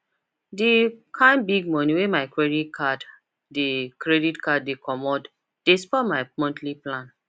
d kind big money wey my credit card de credit card de commot de spoil my monthly plan